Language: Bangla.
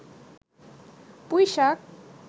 পুইশাক